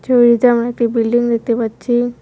ছবিতে আমরা একটি বিল্ডিং দেখতে পাচ্ছি।